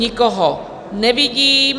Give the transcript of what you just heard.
Nikoho nevidím.